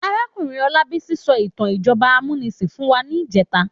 Àrákúnrín Olabisi sò itàn ijòbá àmúnisín fún wá nijètá